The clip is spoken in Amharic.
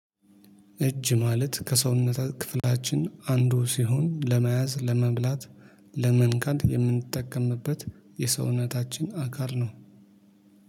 እጅ ማለት ከሰውነታት ክፍላችን አንዱ ሲሆን ለመያዝ ለመብላት ለመንካት የምንጠቀምበት የሰውነታችን አካል ነው